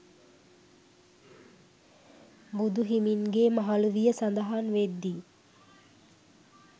බුදුහිමින්ගේ මහලු විය සඳහන් වෙද්දී